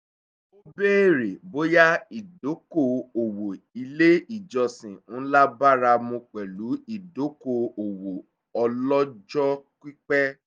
ó béèrè bóyá ìdóko òwò ilé ìjọsìn ńlá báramú pẹ̀lú ìdóko òwò ọlọ́jọ́ pípẹ́